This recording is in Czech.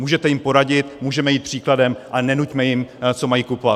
Můžete jim poradit, můžeme jít příkladem, ale nenuťme jim, co mají kupovat.